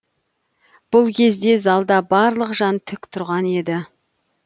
бұл кезде залда барлық жан тік тұрған еді